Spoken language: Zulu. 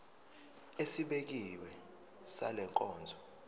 esibekiwe sale nkonzo